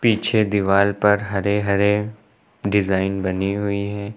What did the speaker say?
पीछे दीवाल पर हरे हरे डिजाइन बनी हुई है।